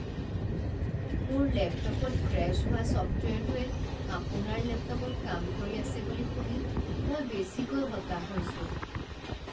মোৰ লেপটপত ক্ৰেশ্ব হোৱা ছফ্টৱেৰটোৱে আপোনাৰ লেপটপত কাম কৰি আছে বুলি শুনি মই বেছিকৈ হতাশ হৈছোঁ।